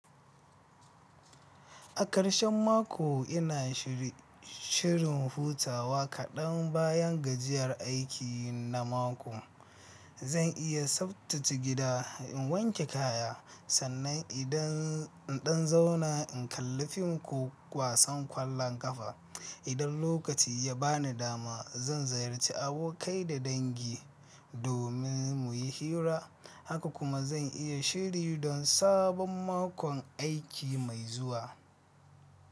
A ƙarshen mako ina shirin hutawa kaɗan bayan gajiyar aiki na mako. Zan iya tsaftace gida, in wanke kaya, sannan idan in ɗan zauna in kalla fim ko kwasan ƙwallon ƙafa. Idan lokaci ya bani dama, zan ziyarci abokai da dangi domin mu yi hira, haka kuma zan iya shiri don sabon makon aiki mai zuwa.